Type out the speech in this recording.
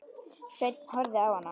Sveinn horfði á hana.